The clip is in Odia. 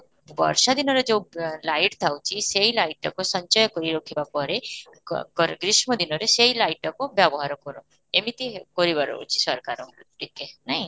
ବର୍ଷା ଦିନରେ ଯଉ light ଥାଉଛି, ସେଇ light ଟାକୁ ସଞ୍ଚୟ କରି ରଖିବା ପରେ କର ଗ୍ରୀଷ୍ମ ଦିନରେ ସେଇ light ଟାକୁ ବ୍ୟବହାର କର, ଏମିତି କରିବାର ଅଛି ସରକାର ଟିକେ ନାହିଁ